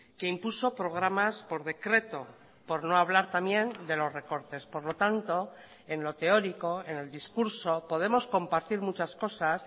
que impuso programas por decreto por no hablar también de los recortes por lo tanto en lo teórico en el discurso podemos compartir muchas cosas